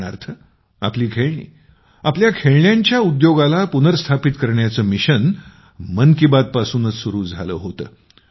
उदाहरणार्थ आपली खेळणी आपल्या खेळण्यांच्या उद्योगाला पुनरुस्थापित करण्याचे मिशन मन की बात पासूनच तर सुरु झाले होते